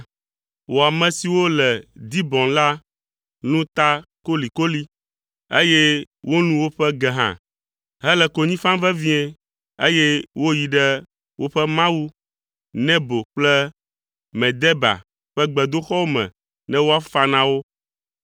Wò ame siwo le Dibon la lũ ta kolikoli, eye wolũ woƒe ge hã hele konyi fam vevie, eye woyi ɖe woƒe mawu Nebo kple Medeba ƒe gbedoxɔwo me ne woafa na wo.